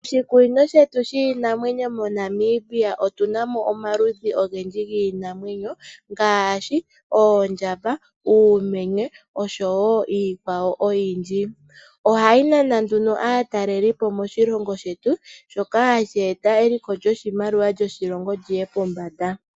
Moshikunino shetu shiinamwenyo moNamibia otu namo omaludhi ogendji giinamwenyo, ngaashi oondjamba, uumenye nosho woo iikwawo oyindji, iinamwenyo mbika ohayi nana aataleli moshilongo shetu shoka hashi yambulapo eliko lyoshimaliwa liye Pombanda moshilongo shetu.